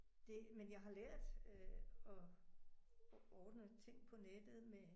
Det men jeg har lært øh at ordne ting på nettet med